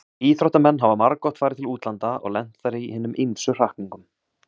Íþróttamenn hafa margoft farið til útlanda og lent þar í hinum ýmsu hrakningum.